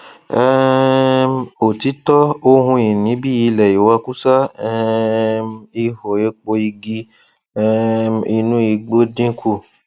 um òtítọ ohun ìní bí ilẹ ìwakúsá um ihò epo igi um inú igbó dínkù